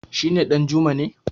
shi ne Danjuma ne